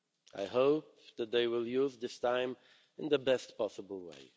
I hope that they will use this time in the best possible way.